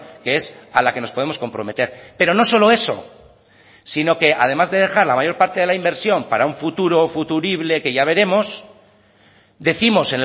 que es a la que nos podemos comprometer pero no solo eso sino que además de dejar la mayor parte de la inversión para un futuro o futurible que ya veremos décimos